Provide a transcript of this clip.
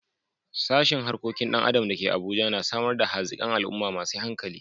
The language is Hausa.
Sashen Harkokin Dan Adam da ke Abuja na samar da hazikan al'umma masu hankali.